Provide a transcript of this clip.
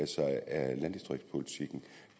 sig af landdistriktspolitikken